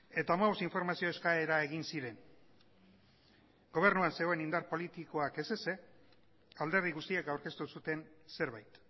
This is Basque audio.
eta hamabost informazio eskaera egin ziren gobernuan zegoen indar politikoak ez ezik alderdi guztiak aurkeztu zuten zerbait